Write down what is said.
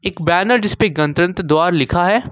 एक बैनर जिस पर गणतंत्र द्वारा लिखा है।